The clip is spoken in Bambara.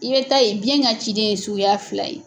I bɛ ta ye biyɛn ka ciden ye suguya fila ye.